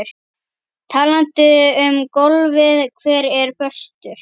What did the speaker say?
Talandi um golfið hver er bestur?